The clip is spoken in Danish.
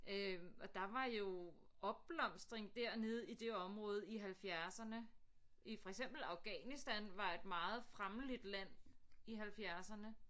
Øh og der var jo opblomstring dernede i det område i halvfjerdserne i for eksempel Afghanistan var et meget fremmeligt land i halvfjerdserne